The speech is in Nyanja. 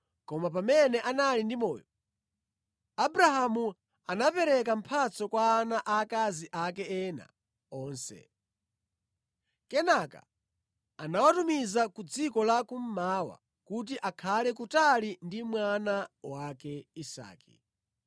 Koma pamene anali ndi moyo, Abrahamu anapereka mphatso kwa ana aakazi ake ena onse. Kenaka anawatumiza ku dziko la kummawa kuti akhale kutali ndi mwana wake Isake.